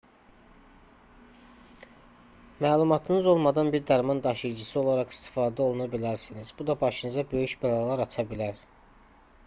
məlumatınız olmadan bir dərman daşıyıcısı olaraq istifadə oluna bilərsiniz bu da başınıza böyük bəlalar aça bilər